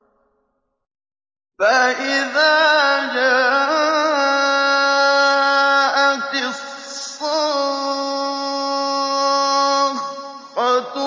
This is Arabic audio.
فَإِذَا جَاءَتِ الصَّاخَّةُ